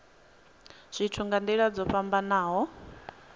zwithu nga nila dzo fhambanaho